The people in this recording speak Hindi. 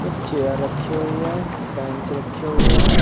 एक चेयर रखी हुई है बेंच रखी हुई है।